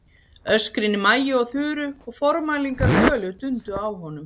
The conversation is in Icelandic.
Öskrin í Maju og Þuru og formælingar Völu dundu á honum.